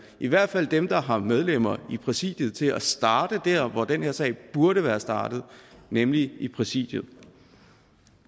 i hvert fald dem der har medlemmer i præsidiet til at starte der hvor den her sag burde være startet nemlig i præsidiet